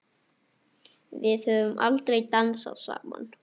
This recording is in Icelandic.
Við höfum aldrei dansað saman.